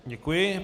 Děkuji.